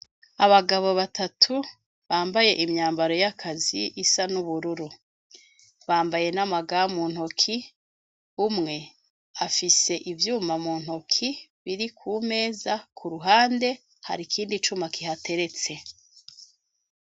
Abagabo batatu bambaye imyambaro y'akazi isa n'ubururu bambaye n'amagamuu ntoki umwe afise ivyuma mu ntoki biri ku meza ku ruhande hari ikindi cuma kihateretse.